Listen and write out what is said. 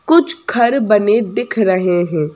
कुछ खर बने दिख रहे हैं।